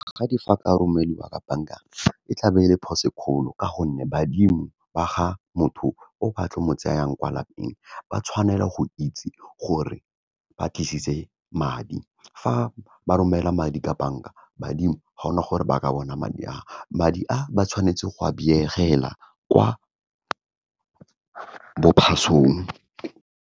Magadi fa ka romeliwa ka bank-a e tla be ele phoso e kgolo, ka gonne badimo ba ga motho o ba tlo mo tseyang kwa lapeng, ba tshwanela go itse gore ba tlisitse madi. Fa ba romela madi ka bank-a, badimo ga gona gore ba ka bona madi, madi a ba tshwanetse go a kwa bo phasong.